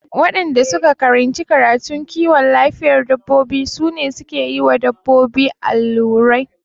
Waɗanda suka karanci karatun kiwon lafiyar dabbobi su ne suke yiwa dabbobi allurai